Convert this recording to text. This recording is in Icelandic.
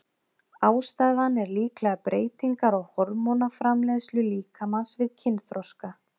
Ástæðan er líklega breytingar á hormónaframleiðslu líkamans við kynþroska.